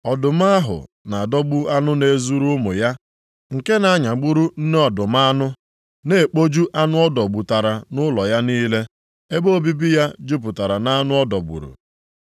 Ọdụm ahụ na-adọgbu anụ na-ezuru ụmụ ya, nke na-anyagburu nne ọdụm anụ, na-ekpoju anụ ọ dọgbutara nʼụlọ ya niile. Ebe obibi ya jupụtara nʼanụ ọ dọgburu.